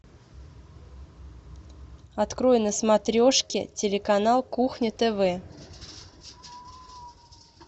открой на смотрешке телеканал кухня тв